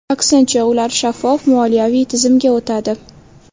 Aksincha, ular shaffof moliyaviy tizimga o‘tadi.